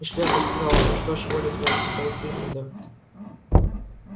и шляпа сказала ну что ж воля твоя ступай в гриффиндор